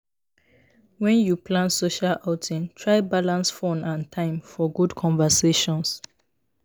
When you plan social outing, try balance fun and time for good conversations.